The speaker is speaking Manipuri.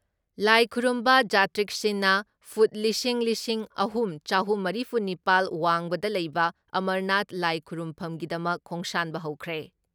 ꯂꯥꯏ ꯈꯨꯔꯨꯝꯕ ꯖꯥꯇ꯭ꯔꯤꯛꯁꯤꯡꯅ ꯐꯨꯠ ꯂꯤꯁꯤꯡ ꯂꯤꯁꯤꯡ ꯑꯍꯨꯝ ꯆꯍꯨꯝ ꯃꯔꯤꯐꯨ ꯅꯤꯄꯥꯜ ꯋꯥꯡꯕꯗ ꯂꯩꯕ ꯑꯃꯔꯅꯥꯊ ꯂꯥꯏ ꯈꯨꯔꯨꯝꯐꯝꯒꯤꯗꯃꯛ ꯈꯣꯡꯁꯥꯟꯕ ꯍꯧꯈ꯭ꯔꯦ ꯫